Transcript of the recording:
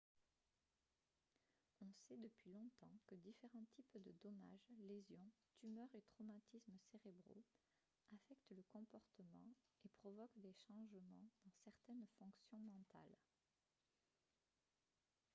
on sait depuis longtemps que différents types de dommages lésions tumeurs et traumatismes cérébraux affectent le comportement et provoquent des changements dans certaines fonctions mentales